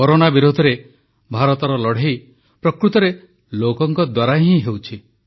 corona ବିରୋଧରେ ଭାରତର ଲଢ଼େଇ ପ୍ରକୃତରେ ଲୋକଙ୍କ ଦ୍ୱାରା ହିଁ ହେଉଛି